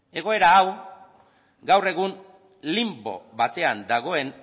egoera hau gaur egun linbo batean dagoen